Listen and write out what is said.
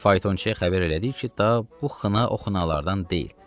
Və faytonçuyə xəbər elədik ki, ta bu xına o xınalardan deyil.